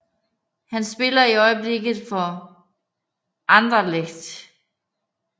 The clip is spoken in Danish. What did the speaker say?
Han spiller i øjeblikket for Anderlecht